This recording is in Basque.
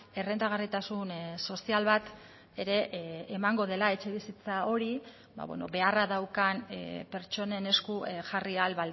errentagarritasun sozial bat ere emango dela etxebizitza hori beharra daukan pertsonen esku jarri ahal